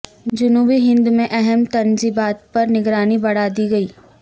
جنوبی ہند میں اہم تنصیبات پر نگرانی بڑھا دی گئی